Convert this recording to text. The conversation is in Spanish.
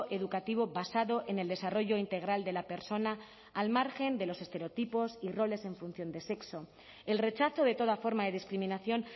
educativo basado en el desarrollo integral de la persona al margen de los estereotipos y roles en función del sexo el rechazo de toda forma de discriminación